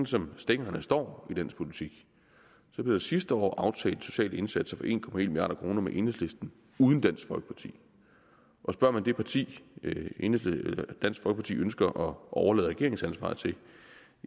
som stillingerne står i dansk politik så blev der sidste år aftalt sociale indsatser for en milliard kroner med enhedslisten uden dansk folkeparti og spørger man det parti dansk folkeparti ønsker at overlade regeringsansvaret til